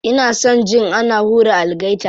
Ina son jin ana hura algaita.